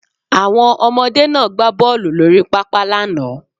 Àwọn ọmọdé náà gbá bọ́ọlù lórí pápá lánàá